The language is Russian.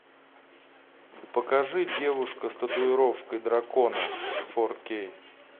покажи девушка с татуировкой дракона фор кей